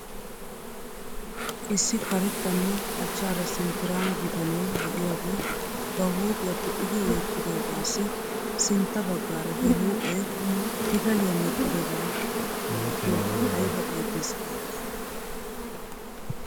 Issi karettanne achchaara sinttiraama bitanee de'iyaagee ba huuphiyaa pixidi wottidoogaassi sintta baagaara he huuphee pitaliyaa medhdhidoba malatiyaa ayba iites giidetii